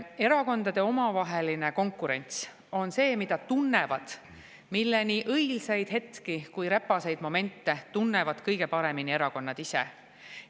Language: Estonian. Erakondade omavahelist konkurentsi, selle nii õilsaid hetki kui räpaseid momente tunnevad kõige paremini erakonnad ise.